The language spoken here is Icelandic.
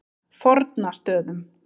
Fornastöðum